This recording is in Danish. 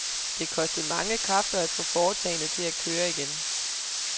Det kostede mange kræfter at få foretagendet til at køre igen.